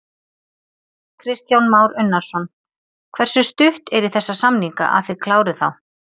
Kristján Már Unnarsson: Hversu stutt er í þessa samninga, að þið klárið þá?